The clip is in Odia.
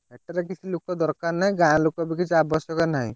ସେଥିରେ କିଛି ଲୋକ ଦକାର ନାହିଁ ଗାଁ ଲୋକ ବି କିଛି ଆବଶ୍ୟକ ନାହିଁ।